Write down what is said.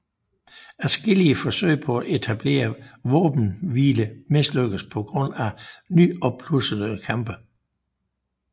Adskillige forsøg på at etablere våbenhvile mislykkedes på grund af nyopblussede kampe